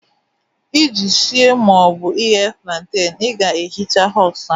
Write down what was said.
Iji sie ma ọ bụ ighe plantain, ị ga-ehicha husk ahụ